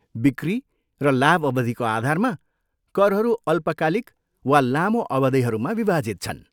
बिक्री र लाभ अवधिको आधारमा, करहरू अल्पकालिक वा लामो अवधिहरूमा विभाजित छन्।